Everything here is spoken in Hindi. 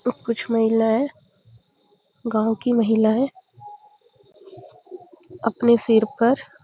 ये कुछ महिलाये गांव की महिला है अपने सिर पर--